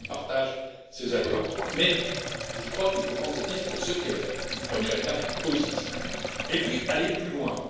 cette liste. Je partage ces attentes, mais je crois qu'il faut prendre cette liste pour ce qu'elle est une première étape positive et aller